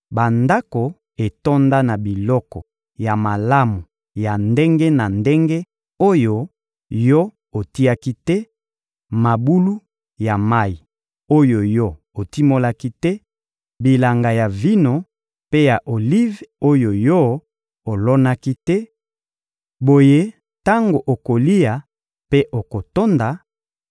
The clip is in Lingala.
bandako etonda na biloko ya malamu ya ndenge na ndenge oyo yo otiaki te, mabulu ya mayi oyo yo otimolaki te, bilanga ya vino mpe ya olive oyo yo olonaki te; boye tango okolia mpe okotonda;